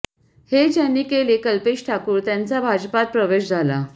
हे ज्यांनी केलं कल्पेश ठाकूर त्यांचा भाजपात प्रवेश झाला